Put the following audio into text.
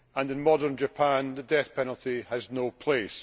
In modern Japan the death penalty has no place.